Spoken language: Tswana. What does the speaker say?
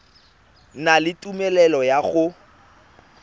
na le tumelelo ya go